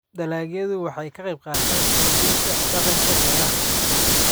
Dalagyadu waxay ka qaybqaataan xoojinta dhaqanka beeraha.